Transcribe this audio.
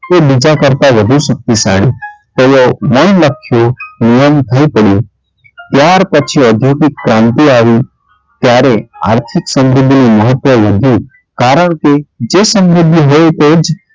તે બીજા કરતાં વધુ શક્તિશાળી તે નય લખ્યું નિયમભુતનું ત્યાર પછી ઓધોગિક ક્રાંતિ આવી ત્યારે આર્થિક સમૃદ્ધિ નું મહત્વ વધ્યું કારણકે જે સમૃદ્ધિ હોય તે જ,